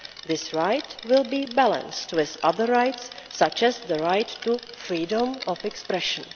This right will be balanced with other rights, such as the right to freedom of expression.